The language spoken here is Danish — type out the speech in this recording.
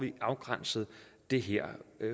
afgrænset det her